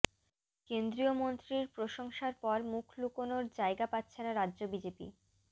কেন্দ্রীয় মন্ত্রীর প্রশংসার পর মুখ লুকোনোর জায়গা পাচ্ছে না রাজ্য বিজেপি